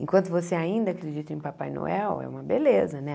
Enquanto você ainda acredita em Papai Noel, é uma beleza, né?